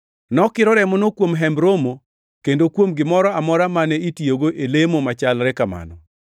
Nokiro remono kuom Hemb Romo kendo kuom gimoro amora mane itiyogo e lemo machalre kamano.